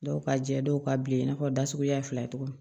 Dɔw ka jɛ dɔw ka bilen i n'a fɔ da suguya fila cogo min